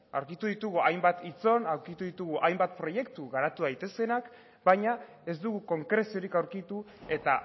aurkitu ditugu hainbat aurkitu ditugu hainbat proiektu garatu daitezenak baina ez dugu konkreziorik aurkitu eta